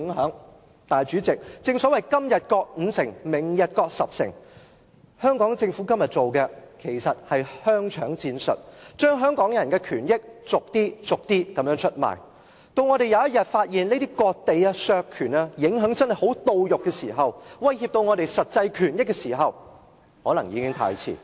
可是，主席，正所謂"今日割五城，明日割十城"，香港政府今天做的，其實是香腸戰術，把香港人的權益逐點出賣，到我們某天發現這些割地及削權的影響真的十分切膚，威脅到我們的實際權益時，可能已經太遲。